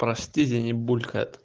простите я не буду